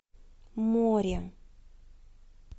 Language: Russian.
море